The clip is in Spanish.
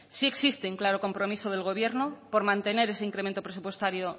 sí existe un claro compromiso del gobierno por mantener ese incremento presupuestario